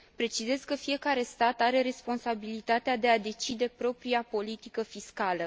Precizez că fiecare stat are responsabilitatea de a decide propria politică fiscală.